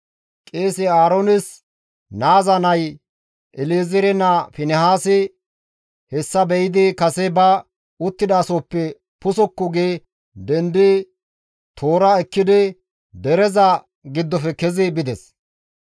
Qeese Aaroones naaza nay, El7ezeere naa Finihaasi hessa be7idi kase ba uttidasohoppe pusukku gi dendidi tohora ekkidi dereza giddofe kezi bides.